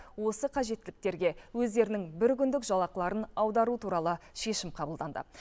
осы қажеттіліктерге өздерінің бір күндік жалақыларын аудару туралы шешім қабылданды